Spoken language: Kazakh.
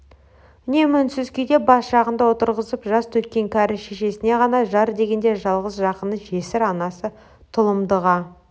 үнемі үнсіз күйде бас жағында отырып жас төккен кәрі шешесіне ғана жар дегенде жалғыз жақыны жесір анасы тұлымдыға